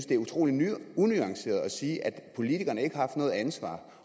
det er utrolig unuanceret at sige at politikerne ikke har noget ansvar